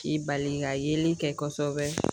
K'i bali ka yeli kɛ kɔsɛbɛ.